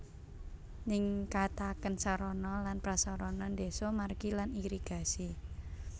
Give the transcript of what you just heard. Ningkataken sarana lan prasarana deso margi lan irigasi